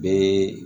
Bɛɛ